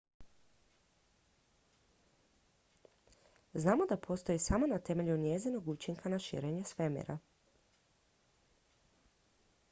znamo da postoji samo na temelju njezinog učinka na širenje svemira